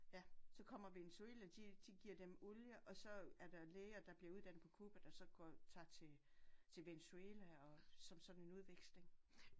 Ja så kommer Venezuela de de giver dem olie og så er der læger der bliver uddannet på Cuba der så går tager til Venezuela og som sådan en udveksling